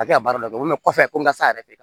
A tɛ ka baara dɔ kɔfɛ ko n ka sa yɛrɛ tɛ